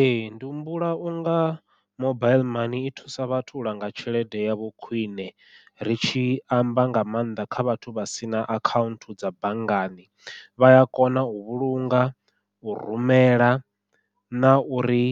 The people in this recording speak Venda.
Ee ndi humbula unga mobaiḽi mani i thusa vhathu u langa tshelede yavho khwiṋe, ri tshi amba nga maanḓa kha vhathu vha sina akhaunthu dza banngani, vha ya kona u vhulunga u rumela na uri